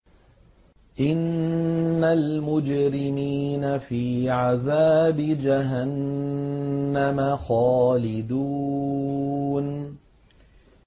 إِنَّ الْمُجْرِمِينَ فِي عَذَابِ جَهَنَّمَ خَالِدُونَ